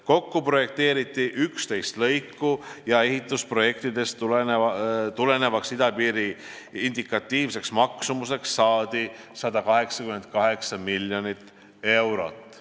Kokku projekteeriti 11 lõiku ja ehitusprojektidest tulenevaks idapiiri indikatiivseks maksumuseks saadi 188 miljonit eurot.